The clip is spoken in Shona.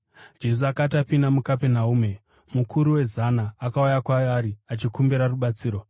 Jesu akati apinda muKapenaume, mukuru wezana akauya kwaari achikumbira rubatsiro.